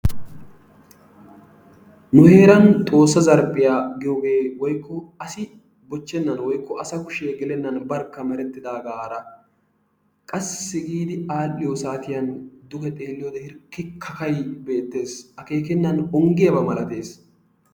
Nu heeran xoossa zarphphiyaa giyoogee woykko aasi boochchenan woykko asa kushshee geelenan barkka merettidaagara qassi giidi al"iyoo saatiyaan duge xeelliyoode hirkki kakay beettees. Akeekenan onggiyaaba malattees.